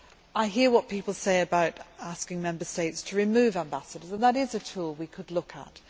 I hear what people say about asking Member States to remove ambassadors, and that is a tool we could look at.